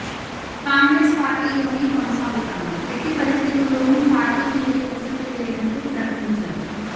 కాంగ్రెస్ పార్టీలోనే కొనసాగుతాను ఎట్టి పరిస్థితుల్లోనూ పార్టీ వీడే ప్రసక్తి లేదంటూ ప్రకటించారు